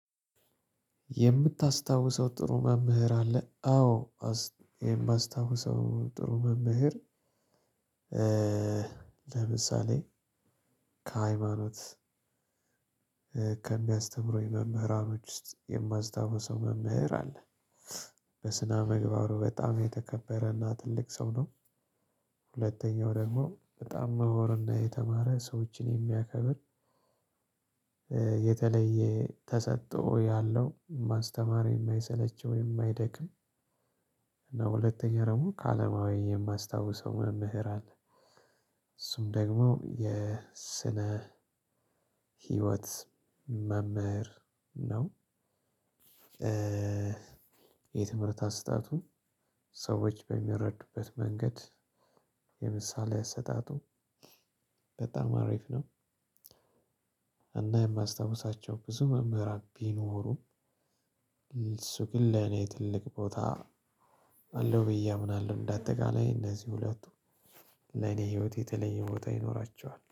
የምታስታውሰው ጥሩ መምህር አለ? አዎ የማስታውሰው ጥሩ መምህር ለምሳሌ ከሃይማኖት ከሚያስተምረኝ መምህራኖች ውስጥ የማስታውሰው መምህር አለ። በስነ ምግባሩ በጣም የተከበረና ትልቅ ሰው ነው። ሁለተኛው ደግሞ በጣም ምሁርና የተማረ ሰዎችን የሚያከብር የተለየ ተሰጥኦ ያለው፣ ማስተማር የማይሰለቸው፣ የማይደክም እና ሁለተኛ ደግሞ ከአለማዊ የማስታውሰው መምህር አለ። እሱም ደግሞ የስነ ህይወት መምህር ነው። የትምህርት አሰጣጡን ሰዎች በሚረዱበት መንገድ የምሳሌ አሰጣጡ በጣም አሪፍ ነው። እና የማስታውሳቸው ብዙ ምህራን ቢኖሩም እሱ ግን ለኔ ትልቅ ቦታ አለው ብዬ አምናለሁ። እንደ አጠቃላይ እነዚህ ሁለቱ ለኔ ህይወት የተለየ ቦታ ይኖራቸዋል።